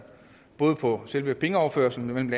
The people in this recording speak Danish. både på selve pengeoverførslen men